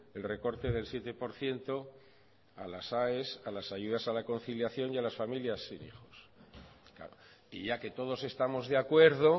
el recorte del siete por ciento a las aes a las ayudas a la conciliación y a las familias sin hijos y ya que todos estamos de acuerdo